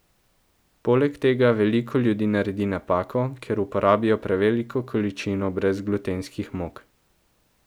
Poleg tega veliko ljudi naredi napako, ker uporabijo preveliko količino brezglutenskih mok.